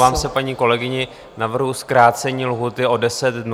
Omlouvám se paní kolegyni, navrhuji zkrácení lhůty o 10 dnů na 50 dnů.